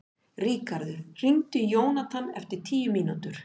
Ríkharður, hringdu í Jónathan eftir tíu mínútur.